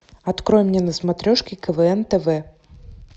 открой мне на смотрешке квн тв